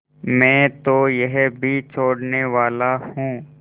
मैं तो यह भी छोड़नेवाला हूँ